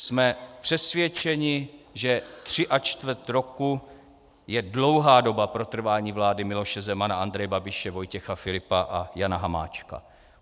Jsme přesvědčeni, že tři a čtvrt roku je dlouhá doba pro trvání vlády Miloše Zemana, Andreje Babiše, Vojtěcha Filipa a Jana Hamáčka.